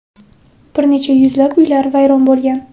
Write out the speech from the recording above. Bir necha yuzlab uylar vayron bo‘lgan.